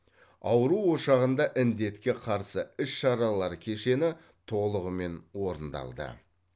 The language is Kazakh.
ауру ошағында індетке қарсы іс шаралар кешені толығымен орындалды